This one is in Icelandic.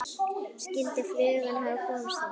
Skyldi flugan hafa komist út?